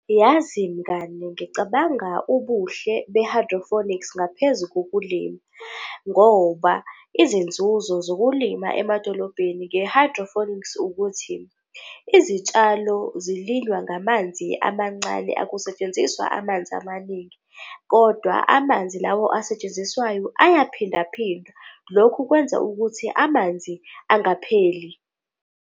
Yazi mngani, ngicabanga ubuhle be-hydrophonics ngaphezu kokulima ngoba izinzuzo zokulima emadolobheni nge-hydrophonics ukuthi izitshalo lo zilinywa ngamanzi amancane, akusetshenziswa amanzi amaningi kodwa amanzi lawo asetshenziswayo ayaphindaphindwa. Lokhu kwenza ukuthi amanzi angapheli.